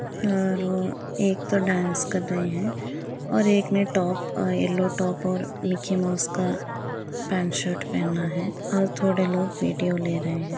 और वो एक तो डांस कर रहे हैं और एक ने टॉप अ यलो टॉप और मिकी माउस का पैंट शर्ट पहना है और थोड़े लोग वीडियो ले रहे हैं।